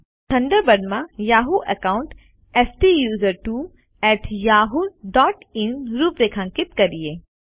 ચાલો થન્ડરબર્ડ માં યાહૂ એકાઉન્ટSTUSERTWOyahoo ડોટ ઇન રૂપરેખાંકિત કરીએ